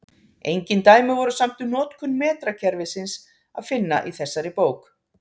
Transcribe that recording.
Engin dæmi voru samt um notkun metrakerfisins að finna í þessari bók.